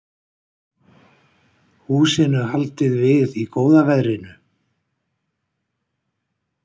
Húsinu haldið við í góða veðrinu